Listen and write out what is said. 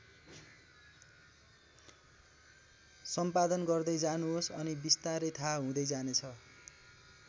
सम्पादन गर्दै जानुहोस् अनि विस्तारै थाहा हुँदै जानेछ।